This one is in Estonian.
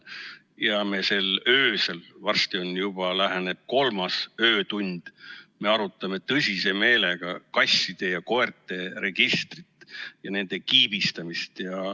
Ja me öösel, varsti juba läheneb kolmas öötund, arutame tõsise meelega kasside ja koerte registrit ja nende kiibistamist.